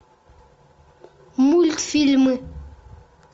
мультфильмы